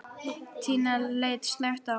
Tinna leit snöggt á hann.